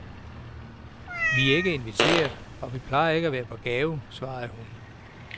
Vi er ikke inviteret og vi plejer ikke at være på gave, svarede hun.